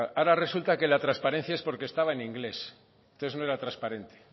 claro ahora resulta que la transparencia es porque estaba en inglés entonces no era transparente